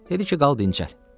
Dedi ki, qal dincəl.